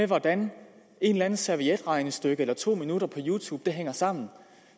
hvordan et eller andet servietregnestykke eller to minutter på youtube hænger sammen